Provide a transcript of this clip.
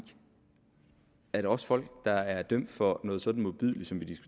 at når også folk der er dømt for noget så modbydeligt som